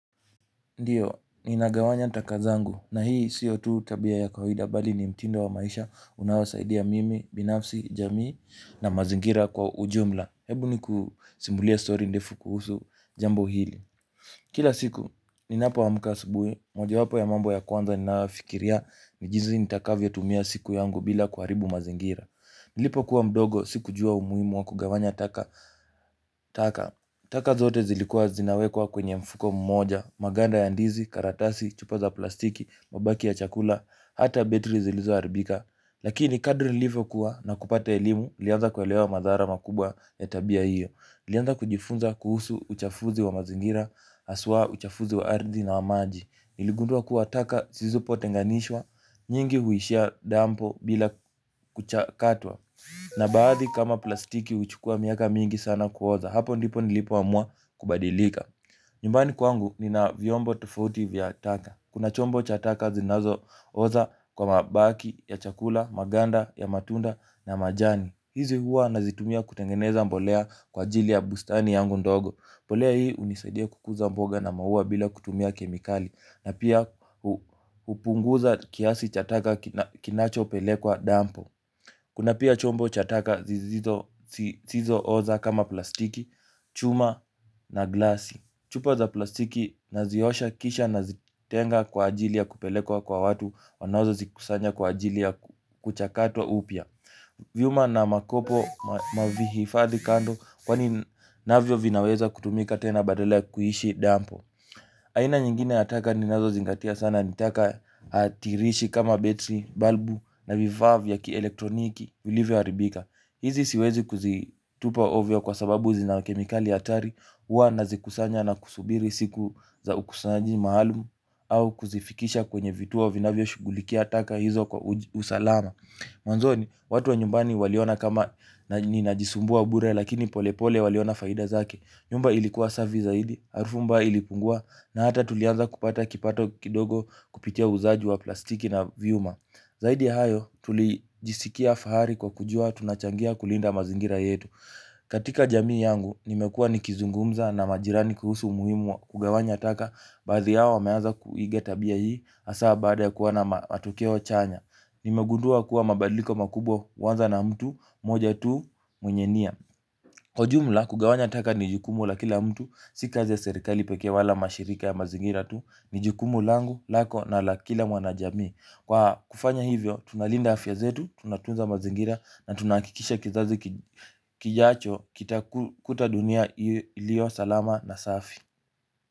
Ndiyo, ni nagawanya takazangu na hii si tu tabia ya kawaida bali ni mtindo wa maisha unaosaidia mimi, binafsi, jamii na mazingira kwa ujumla. Hebu ni kusimbulia story ndefu kuhusu jambo hili. Kila siku, ni napo amka asubui, moja wapo ya mambo ya kwanza ni nayofikiria ni jinzi nitakavyo tumia siku yangu bila kuharibu mazingira. Nilipo kuwa mdogo, si kujua umuhimu wa kugawanya taka. Taka zote zilikuwa zinawekwa kwenye mfuko mmoja. Maganda ya ndizi, karatasi, chupa za plastiki, mabaki ya chakula hata betri zilizo haribika. Lakini kadri nilivyo kuwa na kupata elimu nilianza kuelewa madhara makubwa ya tabia hiyo nilianza kujifunza kuhusu uchafuzi wa mazingira. Aswa uchafuzi wa ardhi na wa maji niligundua kuwa taka sizizopo tenganishwa. Nyingi huishia dampo bila kuchakatwa. Na baadhi kama plastiki uchukua miaka mingi sana kuoza, hapo ndipo nilipo amua kubadilika. Nyumbani kwangu nina viombo tofauti vya taka. Kuna chombo cha taka zinazo oza kwa mabaki, ya chakula, maganda, ya matunda na majani. Hizi huwa nazitumia kutengeneza mbolea kwa ajili ya bustani yangu ndogo. Mbolea hii unisadia kukuza mboga na maua bila kutumia kemikali. Na pia upunguza kiasi cha taka kinacho pele kwa dampo. Kuna pia chombo chataka zizo oza kama plastiki, chuma na glasi. Chupa za plastiki na ziosha kisha na zitenga kwa ajili ya kupelekwa kwa watu wanazo zikusanya kwa ajili ya kuchakatwa upia. Viuma na makopo mavihifadhi kando kwa ni navyo vinaweza kutumika tena badala kuishi dampo. Aina nyingine ya taka ninazo zingatia sana nitaka atirishi kama betri, balbu na vifaa vya ki elektroniki vilivyo haribika. Hizi siwezi kuzitupa ovio kwa sababu zinakemikali hatari. Huwa nazikusanya na kusubiri siku za ukusanyi maalum au kuzifikisha kwenye vituo vinavyo shughulikia taka hizo kwa usalama. Mwanzoni, watu wa nyumbani waliona kama ninajisumbua bure lakini pole pole waliona faida zake. Nyumba ilikuwa safi zaidi, harufu mbaya ilipungua na hata tulianza kupata kipato kidogo kupitia uuzaji wa plastiki na viuma. Zaidi ya hayo, tulijisikia fahari kwa kujua tunachangia kulinda mazingira yetu. Katika jamii yangu, nimekuwa nikizungumza na majirani kuhusu muhimu wa kugawanya taka. Baadhi yao wameanza kuiga tabia hii hasa baada ya kuona matokeo chanya. Nimegundua kuwa mabadiliko makubwa huanza na mtu, moja tu mwenye nia. Kwa jumla, kugawanya taka nijukumu la kila mtu, si kazi serikali peke wala mashirika ya mazingira tu. Nijukumu langu lako na la kila mwanajamii. Kwa kufanya hivyo, tunalinda afya zetu, tunatunza mazingira na tunahakikisha kizazi kijacho kitakuta dunia iliyo, salama na safi.